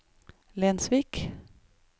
Lensvik